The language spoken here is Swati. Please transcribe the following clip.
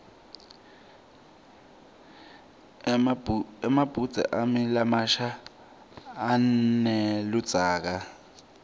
emabhudze ami lamasha aneludzaka